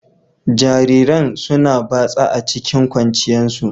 Jarirain suna batsa a cikin kwanciyan su.